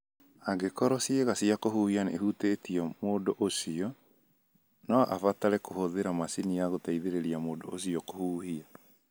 Angĩkorũo ciĩga cia kũhuhia nĩ ihũtitio mũndũ ũcio, no abatare kũhũthĩra macini ya gũteithĩrĩria mũndũ ũcio kũhuhia.